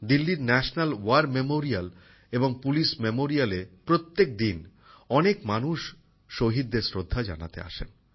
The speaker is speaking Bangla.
দিল্লির ন্যাশনাল ওয়ার মেমোরিয়াল এবং পুলিশ মেমোরিয়ালএ প্রত্যেকদিন অনেক মানুষ শহীদদের শ্রদ্ধা জানাতে আসেন